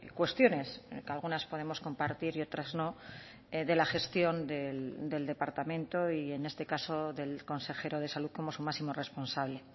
cuestiones que algunas podemos compartir y otras no de la gestión del departamento y en este caso del consejero de salud como su máximo responsable